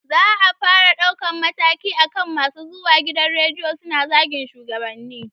Za a fara ɗaukar mataki akan masu zuwa gidan rediyo su zagi shugabanni